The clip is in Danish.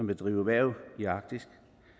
vil drive erhverv i arktis